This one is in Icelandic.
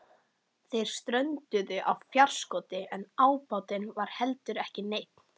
Þeir strönduðu á fjárskorti en ábatinn var heldur ekki neinn.